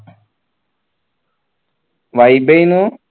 vibe ഏന്നു